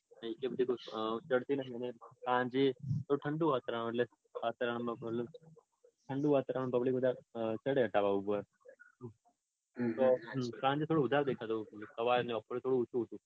ચઢતી નઈ અને સાંજે તો ઠંડુ વાતાવરણ એટલે વાતાવરણમાં ઠંડુ વાતાવરણમાં public વધારે ચઢે ધાબા ઉપર. તો સાંજે દેખાતું તું ને બપોરે થોડું ઓછું હતું.